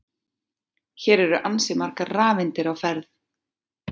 Hér eru ansi margar rafeindir á ferð!